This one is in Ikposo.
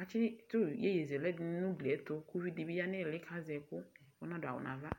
atsɩtʋ iyeye zɛlɛ nʋ ugli yɛ ɛtʋ, kʋ uvi dɩ bɩ ya nʋ ɩɩlɩ kʋ azɛ ɛkʋ, ɔnadʋ awʋ nʋ ava